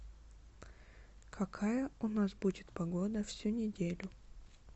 какая у нас будет погода всю неделю